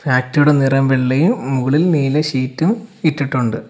ഫാക്ടറിയുടെ നിറം വെള്ളയും ഏഹ് മുകളിൽ നീല ഷീറ്റും ഇട്ടിട്ടൊണ്ട്.